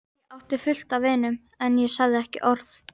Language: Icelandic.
Ég átti fullt af vinum, en ég sagði ekki orð.